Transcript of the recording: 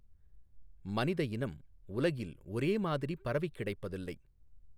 மனிதஇனம் உலகில் ஒரே மாதிரி பரவிக் கிடைப்பதில்லை.